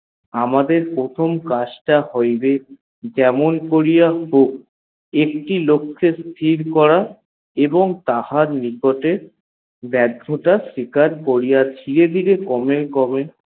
আমাদের প্রথম কাজটা হইবে যেমন করিয়া হক একটি লোককে স্থির করা এবং তাহার নিকটে ব্যার্থতা করিয়াছি ধীরে ধীরে কমে কমে